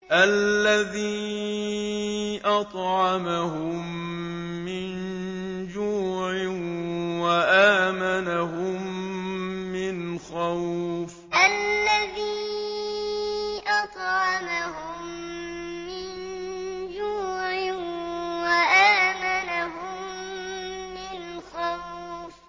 الَّذِي أَطْعَمَهُم مِّن جُوعٍ وَآمَنَهُم مِّنْ خَوْفٍ الَّذِي أَطْعَمَهُم مِّن جُوعٍ وَآمَنَهُم مِّنْ خَوْفٍ